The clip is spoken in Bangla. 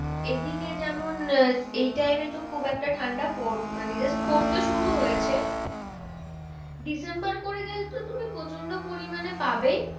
এদিকে যেমন এই time এ তো খুব একটা ঠান্ডা মানে just পড়তে শুরু হয়েছে ডিসেম্বর করে গেলে তো তুমি প্রচন্ড পরিমানে পাবেই